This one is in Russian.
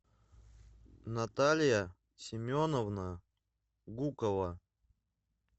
наталья семеновна гукова